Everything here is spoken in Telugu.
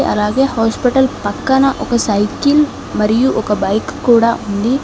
అలాగే హాస్పిటల్ పక్కన ఒక సైకిల్ మరియు ఒక బైక్ కూడా ఉంది.